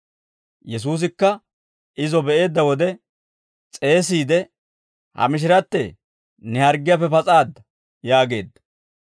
Yesuusikka izo be'eedda wode s'eesiide, «Ha mishirattee, ne harggiyaappe pas'aadda» yaageedda.